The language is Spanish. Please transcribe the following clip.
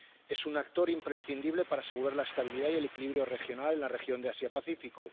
Es un actor imprescindible para asegurar la estabilidad y el equilibrio regional en la región de Asia Pacífico.